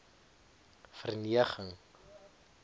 verneging